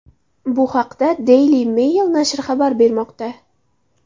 Bu haqda Daily Mail nashri xabar bermoqda.